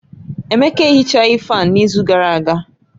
Emeka Ehichaghi fáan n'izu gara aga